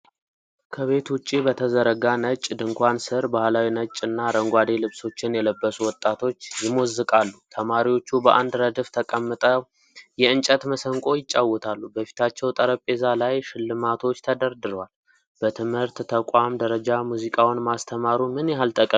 ከቤት ውጭ በተዘረጋ ነጭ ድንኳን ስር ባህላዊ ነጭ እና አረንጓዴ ልብሶችን የለበሱ ወጣቶች ይሞዝቃሉ። ተማሪዎቹ በአንድ ረድፍ ተቀምጠው የእንጨት መሰንቆ ይጫወታሉ፣ በፊታቸው ጠረጴዛ ላይ ሽልማቶች ተደርድረዋል፣ በትምህርት ተቋም ደረጃ ሙዚቃውን ማስተማሩ ምን ያህል ጠቀሜታ ይኖረዋል?